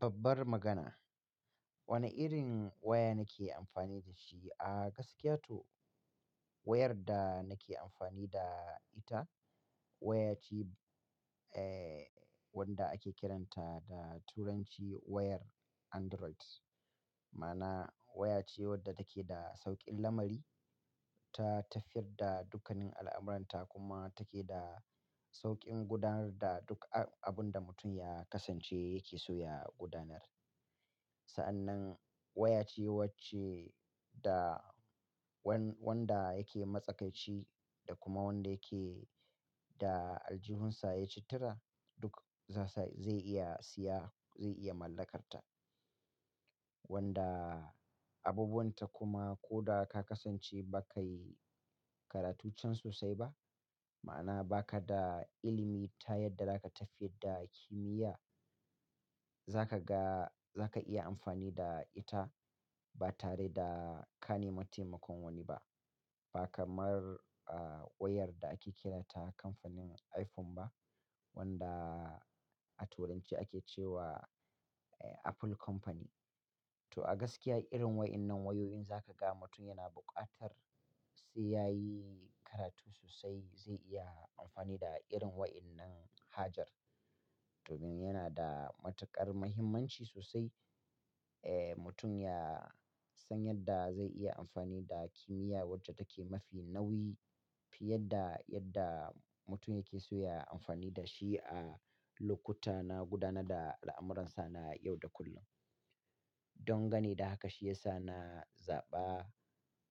Babbar magana. Wane irin waya nake amfani da shi? A gaskiya to, wayar da nake amfani da ita waya ce, eh, wanda ake kiranta da turanci wayar Android. Ma'ana waya ce wadda take da sauƙin lamari, ta tafiyar da dukkanin al'amuranta kuma take da sauƙin gudanar da duk a abun da mutum ya kasance yake so ya gudanar. Sa'an nan waya ce wacce da wan-wanda yake matsakaici da kuma wanda yake da aljihunsa yaci tura duk zai sa zai iya siya, zai iya mallakarta. Wanda abubuwan ta kuma ko da ka kasance ba kai karatun can sosai ba, ma'ana ba ka da ilimi ta yadda za ka tafiyar da kimiyya, za ka ga, za ka iya amfani da ita ba tare da ka nemi taimakon wani ba. Ba kamar, ah, wayar da ake kiranta kamfanin iPhone ba wanda a turanci ake ce wa, eh, Apple Company. To a gaskiya irin wa'innan wayoyi in zaka ga mutum yana buƙatar sai yayi karatu sosai zai iya amfani da irin wa'innan hajar. Domin yana da matuƙar mahimmanci sosai, eh, mutum ya san yadda zai iya amfani da kimiyya wacce take mafi nauyi fiye da yadda mutum yake so ya amfani da shi a lokuta na gudanar da al'amuransa na yau da kullum. Don gane da haka shi ya sa na zaɓa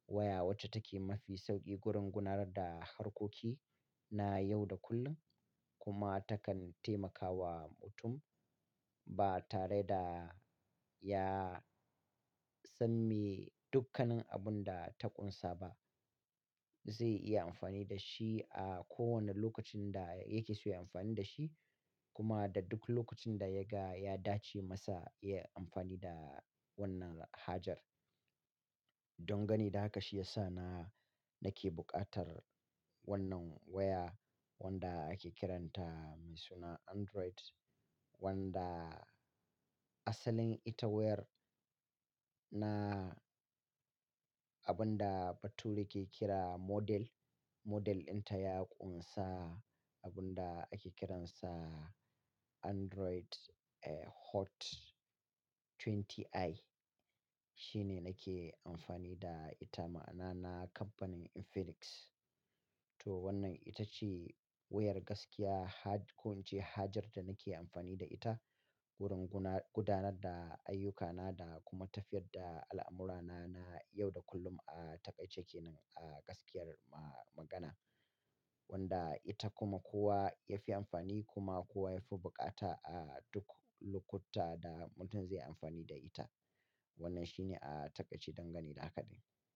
waya wacce take mafi sauƙi gurin gudanar da harkoki na yau da kullum kuma takan taimakawa mutum ba tare da ya san me dukkanin abun da ta ƙunsa ba. Zai iya amfani da shi a kowane lokacin da yake so ya yi amfani da shi kuma da duk lokacin da ya ga ya dace masa ya yi amfani da wannan hajar. Don gane da haka shi ya sa na, nake buƙatar wannan waya wanda ake kiranta mai suna Android wanda asalin ita wayar na abun da bature ke kira model. Model din ta ya ƙunsa abun da ake kiransa Android, eh, Hot 20i. Shi ne nake amfani da ita ma'ana na kamfanin Infinix. To wannan ita ce wayar gaskiya ha-- ko in ce hajar da nake amfani da ita gurin guna-- gudanar da ayyukana da kuma tafiyar da al'amurana na yau da kullum. Ah, ta ƙaice ke nan a gaskiyar ma-magana. Wanda ita kuma kowa ya fi amfani kuma kowa ya fi buƙata a duk lokuta da mutum zai yi amfani da ita. Wannan shi ne a taƙaice don gane da haka ɗin.